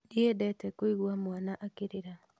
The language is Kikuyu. Ndiendete kũigua mwana akĩrĩra